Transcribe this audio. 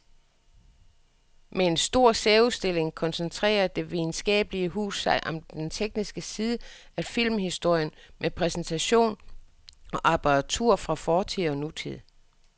Med en stor særudstilling koncentrerer det videnskabelige hus sig om den tekniske side af filmhistorien med præsentation af apparatur fra fortid og nutid.